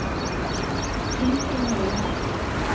sving til høyre